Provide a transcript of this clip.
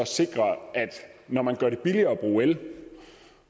når man gør det billigere at bruge el